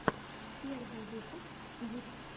первый выпуск дип